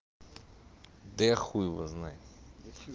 да я хуй его знает да что